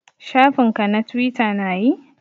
Shafin ka na twita na yi?